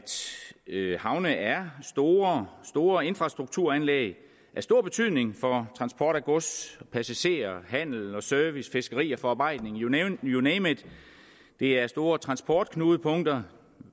havne er store store infrastrukturanlæg og af stor betydning for transport af gods passagerer for handel service fiskeri og forarbejdning you name you name it det er store transportknudepunkter